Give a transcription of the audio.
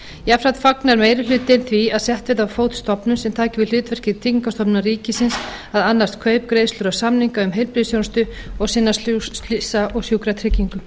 jafnframt fagnar meiri hlutinn því að sett verði á fót stofnun sem taki við hlutverki tryggingastofnunar ríkisins að annast kaup greiðslur og samninga um heilbrigðisþjónustu og sinna slysa og sjúkratryggingum